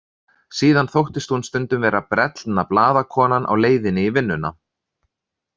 Síðan þóttist hún stundum vera brellna blaðakonan á leiðinni í vinnuna.